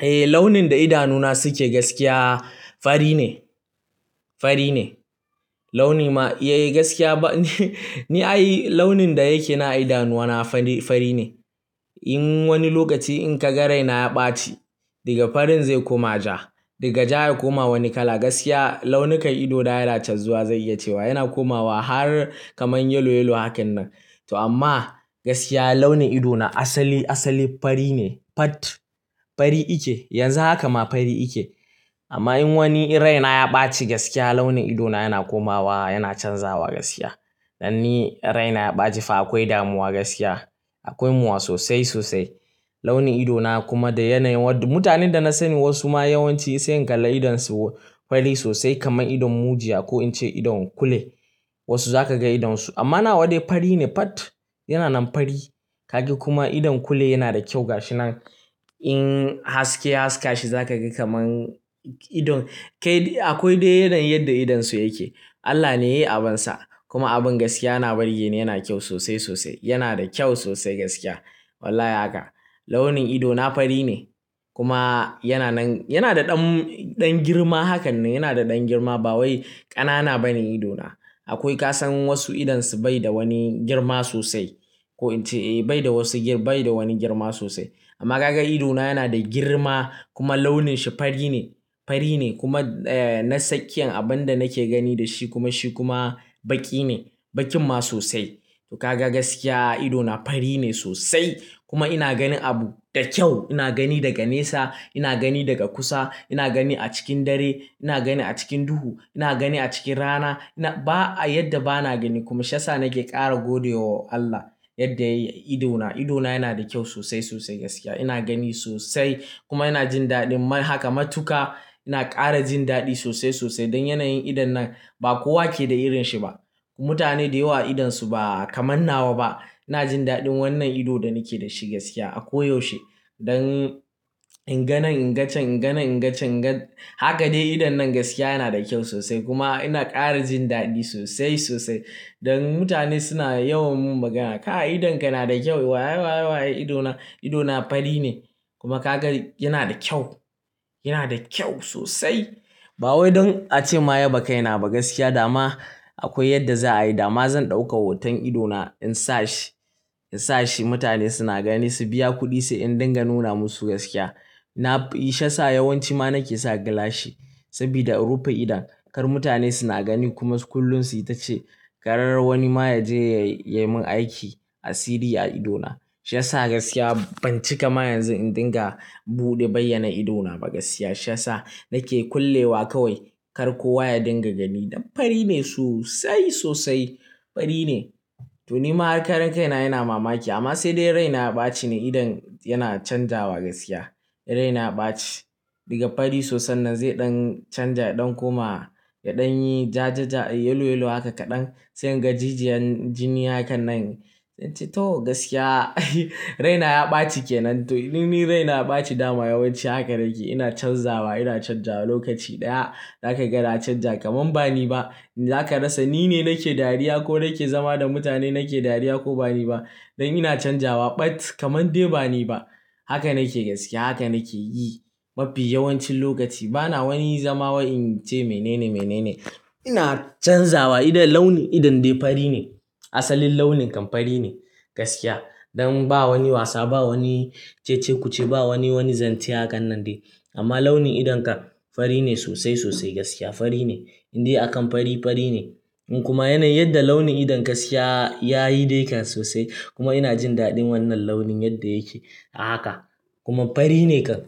Eh launin da idanu na suke gaskiya fari ne, fari ne. Launi ma, eh gaskiya ba ni ai launin da yake nan a idanuwa na fari ne. In wani lokaci in ka ga raina ya ɓaci daga farin zai koma ja, daga ja ya koma wani kala gaskiya launukan ido da yana canzuwa zan iyace wa. Yana komawa har kaman yellow yellow hakan nan. Toh amma gaskiya launin idona asali asali fari ne Fat. Fari ike. Yanzu haka ma fari ike. Amma in wani raina ya ɓaci gaskiya launin ido na yana komawa, yana canzawa gaskiya. Dan ni raina ya ɓaci fa akwai damuwa gaskiya. Akwai mu'a sosai sosai. Launin ido na kuma da yanayin, mutanen da na sani wasu ma yawanci sai in kalla idon su fari sosai kaman idon mujiya ko in ce idon kule. Wasu za ka ga idonsu, amma na wa dai fari ne fat. Yana nan fari. Ka ga kuma idon kule yana da kyau ga shi nan. In haske ya haska shi zaka ga kaman, idon kai akwai dai yanayin yadda idon su yake Allah ne ya yi abunsa. Kuma abun gaskiya na burge ni yana kyau sosai sosai. Yana da kyau sosai gaskiya. Wallahi haka. Launin ido na fari ne. Kuma yana nan, yana da ɗan, ɗan girma hakan nan. Yana da ɗan girma ba wai ƙanana ba ne ido na. Akwai ka san wasu idonsu bai da wani girma sosai. Ko in ce bai da wasu gir, bai da wani girma sosai. Amma ka ga ido na yana da girma kuma launin shi fari ne, fari ne kuma na tsakiyan abin da nake gani da shi kuma shi kuma baƙi ne. Baƙin ma sosai. To ka ga gaskiya ido na fari ne sosai. Kuma ina gani abu da kyau. Ina gani daga nesa, ina gani daga kusa, ina gani a cikin dare, ina gani a cikin duhu, ina gani a cikin rana. Na ba a yadda ba na gani kuma shi yasa nake ƙara gode wa Allah yadda yayi ido na. Ido na yana da kyau sosai sosai gaskiya. Ina gani sosai kuma ina jin daɗin ma. Haka matuƙa. Ina ƙara jin daɗi sosai sosai dan yanayin idon nan ba kuwa keda irin shi ba mutane da yawa idonsu ba kaman nawa ba. Ina jin daɗin wannan ido da nike da shi gaskiya. A ko yaushe. Don inga nan ingacen inga nan ingacen inga. Haka dai idon nan gaskiya yana da kyau sosai kuma ina ƙara jin daɗi sosai sosai. Don mutane suna yawan mun magana "ka idonka yana da kyau" waye, waye, waye ido na, ido na fari ne. Kuma ka ga yana da kyau. Yana da kyau sosai. Ba wai don ace ma yaba kai na ba gaskiya dama akwai yadda za a yi. Dama zan ɗauka hoton ido na in sa shi, in sa shi mutane suna gani su biya kuɗi sai in dinga nuna musu gaskiya. Nafi shi yasa yawanci ma nake sa gilashi. Saboda in rufe idon. Kar mutane suna gani kuma kullum su yi ta ce, kar wani ma ya je ya yi mun aiki asiri a ido na. Shi sa gaskiya ban ci kama yanzu in dinga buɗe bayyana ido na ba gaskiya. Shi yasa nake kullewa kawai. Akar kowa ya dinga gani dan fari ne sosai sosai fari ne to ni ma har karan kai na ina mamaki amma sai dai raina ya ɓaci ne idon yana canzawa gaskiya. Raina ya ɓaci daga fari sosai nan zai ɗan canza, ya ɗan koma, ya ɗan yi ja ja ja, yellow yellow haka kaɗan. Sai inga jijiyan jini hakan nan. To gaskiya raina ya ɓaci kenan. To idan ni raina ya ɓaci dama yawanci haka nakeyi. Ina canza wa in canja wa lokaci ɗaya zaka ga na canja kaman bani ba za ka rasa ni ne nake dariya ko nake zama da mutane nake dariya ko ba ni ba. Don ina canzawa but kamar dai ba ni ba. Haka nake gaskiya. Haka nake yi. Mafi yawancin lokaci. Bana wani zama wai in ce mene ne mene ne. Ina canzawa idan launin idon dai fari ne. Asalin launin kan fari ne. Gaskiya. Don ba wani wasa, ba wani cece-kuce, ba wani, wani zance hakan nan dai. Amma launin idon kan fari ne sosai sosai in dai akan fari, fari ne kuma yanayi yadda launin idon gaskiya, ya yi dai kan sosai kuma ina jin daɗin wannan launin yadda yake a haka. Kuma fari ne kan.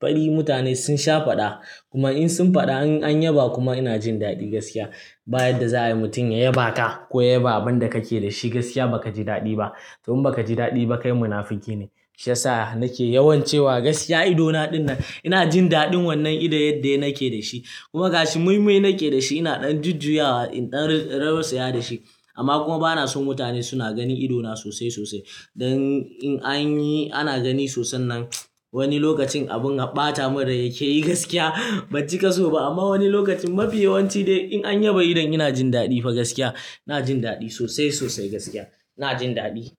Fari mutane sun sha faɗa. Kuma in sun faɗa an, an yaba kuma ina jin daɗi gaskiya. Ba yadda za a yi mutum ya yaba ka ko ya yaba abin da kake da shi gaskiya ba ka ji daɗi ba. To in ba ka ji daɗi ba kai munafiki ne. Shi yasa nake yawan cewa gaskiya ido na ɗinnan ina jin daɗin wannan idon yadda nake da shi kuma ga shi moimoi nake da shi ina ɗan jujjuyawa, ɗan rausaya da shi. Amma kuma bana so mutane suna gani ido na sosai sosai. Dan in anyi ana gani sosan nan wani lokacin abun har ɓata mun rai yake yi gaskiya ban cika so ba amma wani lokacin mafi yawanci dai in an yaba idon in jin daɗi dai gaskiya ina jin daɗi sosai sosai gaskiya. Ina jin daɗi.